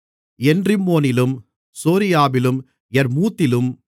என்ரிம்மோனிலும் சோரியாவிலும் யர்மூத்திலும்